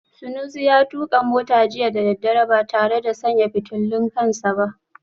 Sunusi ya tuka mota jiya da daddare ba tare da sanya fitulun kan sa ba